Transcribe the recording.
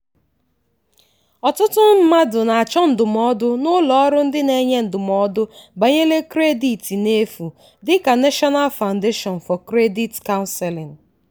ọtụtụ mmadụ na-achọ ndụmọdụ n'ụlọ ọrụ ndị na-enye ndụmọdụ banyere kredit n'efu dị ka national foundation for credit counseling.